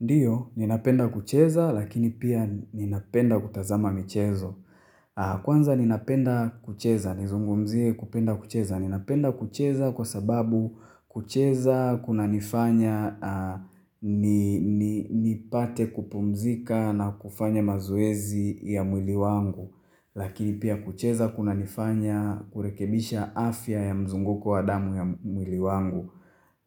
Ndiyo, ninapenda kucheza lakini pia ninapenda kutazama michezo. Kwanza ninapenda kucheza, nizungumzie kupenda kucheza. Ninapenda kucheza kwa sababu kucheza kunanifanya nipate kupumzika na kufanya mazoezi ya mwili wangu. Lakini pia kucheza kunanifanya kurekebisha afya ya mzunguko wa damu ya mwili wangu.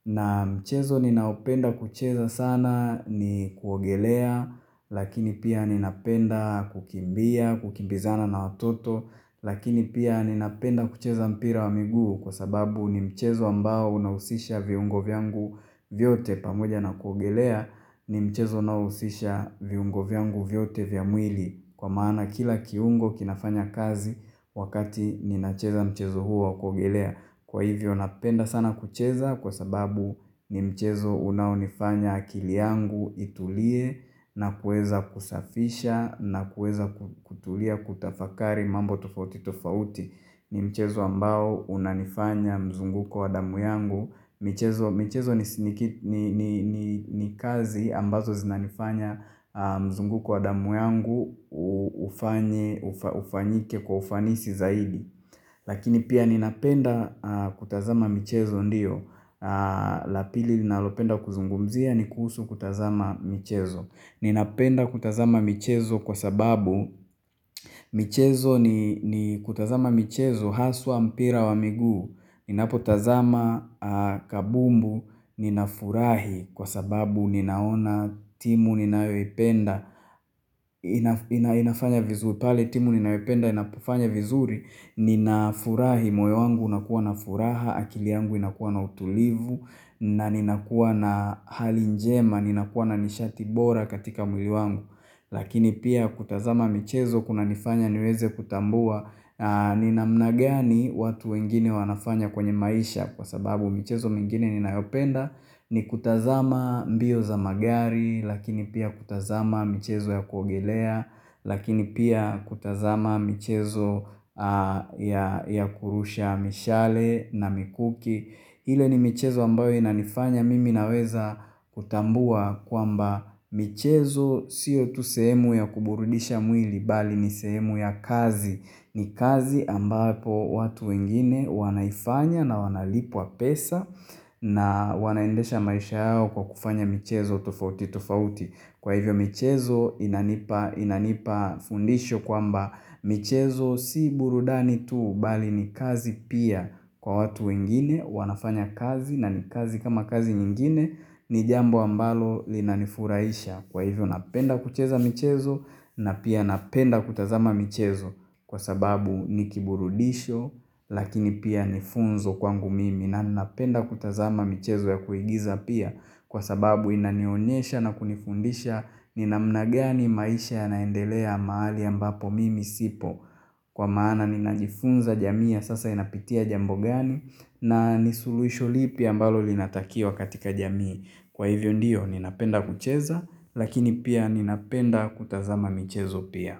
Na mchezo ninaopenda kucheza sana ni kuogelea, lakini pia ninapenda kukimbia, kukimbizana na watoto, lakini pia ninapenda kucheza mpira wa miguu kwa sababu ni mchezo ambao unausisha viungo vyangu vyote pamoja na kuogelea ni mchezo unaousisha viungo vyangu vyote vya mwili. Kwa maana kila kiungo kinafanya kazi wakati ninacheza mchezo huu wa kuogelea. Kwa hivyo napenda sana kucheza kwa sababu ni mchezo unaonifanya akili yangu itulie na kueza kusafisha na kueza kutulia kutafakari mambo tofauti tofauti. Ni mchezo ambao unanifanya mzunguko wa damu yangu michezo michezo ni kazi ambazo zinanifanya mzunguko wa damu yangu ufanye ufanyike kwa ufanisi zaidi Lakini pia ninapenda kutazama michezo ndio la pili ninalopenda kuzungumzia ni kuhusu kutazama michezo Ninapenda kutazama michezo kwa sababu michezo ni ni kutazama michezo haswa mpira wa miguu Ninapotazama kabumbu ninafurahi kwa sababu ninaona timu ninayoipenda ina inafanya vizuri pale timu ninayoependa inapofanya vizuri Ninafurahi moyo wangu unakuwa na furaha, akili yangu inakuwa na utulivu na ninakuwa na hali njema, ninakuwa na nishati bora katika mwili wangu Lakini pia kutazama michezo kunanifanya niweze kutambua ni namna gani watu wengine wanafanya kwenye maisha kwa sababu michezo mingine ninayopenda ni kutazama mbio za magari lakini pia kutazama michezo ya kuogelea lakini pia kutazama michezo ya kurusha mishale na mikuki ile ni michezo ambayo inanifanya mimi naweza kutambua kwamba michezo sio tu sehemu ya kuburudisha mwili bali ni sehemu ya kazi ni kazi ambapo watu wengine wanaifanya na wanalipwa pesa na wanaendesha maisha yao kwa kufanya michezo tofauti tofauti. Kwa hivyo michezo inanipa inanipa fundisho kwamba michezo si burudani tuu bali ni kazi pia kwa watu wengine wanafanya kazi na ni kazi kama kazi nyingine ni jambo ambalo linanifuraisha Kwa hivyo napenda kucheza michezo na pia napenda kutazama michezo kwa sababu ni kiburudisho lakini pia ni funzo kwangu mimi na ninapenda kutazama michezo ya kuigiza pia kwa sababu inanionyesha na kunifundisha ni namna gani maisha yanaendelea mahali ambapo mimi sipo. Kwa maana ninajifunza jamii ya sasa inapitia jambo gani na ni suluisho lipi ambalo linatakio katika jamii. Kwa hivyo ndiyo ninapenda kucheza lakini pia ninapenda kutazama michezo pia.